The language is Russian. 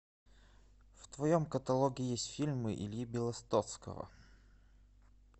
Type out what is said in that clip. в твоем каталоге есть фильмы ильи белостоцкого